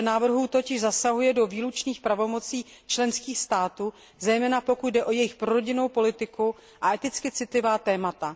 V řadě návrhů totiž zasahuje do výlučných pravomocí členských států, zejména pokud jde o jejich pro rodinnou politiku a eticky citlivá témata.